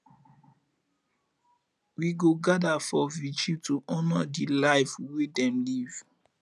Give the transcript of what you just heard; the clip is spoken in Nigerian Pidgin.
we go gather for vigil to honor di life wey dem live